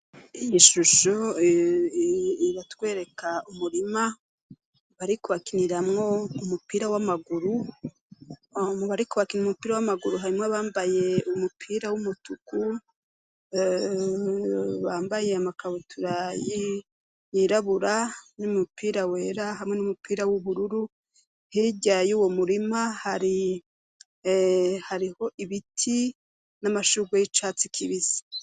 iyi shusho iratwereka umurima barikuhakiniramwo umupira w'amaguru mubariko barakina umupira w'amaguru harimwo bambaye umupira w'umutuku bambaye amakabutura yirabura n'umupira wera hamwe n'umupira w'ubururu hirya y 'uwo murima hariho ibiti n'amashugwe y'icatsi kibisi